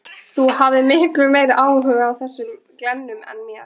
Þú hafðir miklu meiri áhuga á þessum glennum en mér.